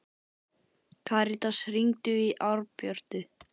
Karitas, hringdu í Árbjörtu.